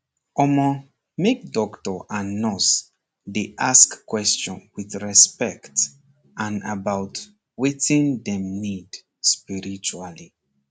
omor make doctor and nurse dey ask queston with respect and about wetin dem need spiritually